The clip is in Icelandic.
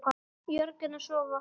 Jörgen og Svava.